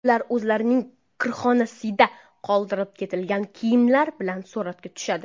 Ular o‘zlarining kirxonasida qoldirib ketilgan kiyimlar bilan suratga tushadi.